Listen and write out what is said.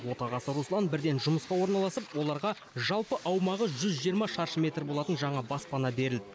отағасы руслан бірден жұмысқа орналасып оларға жалпы аумағы жүз жиырма шаршы метр болатын жаңа баспана берілді